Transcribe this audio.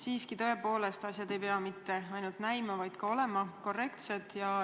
Siiski, tõepoolest, asjad ei pea mitte ainult näima, vaid ka olema korrektsed.